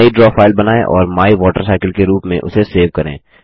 नई draw file बनाएँ और माइवाटरसाइकिल के रूप में उसे सेव करें